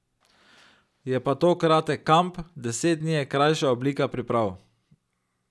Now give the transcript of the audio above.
Je pa to kratek kamp, deset dni je krajša oblika priprav.